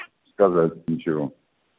сказать ничего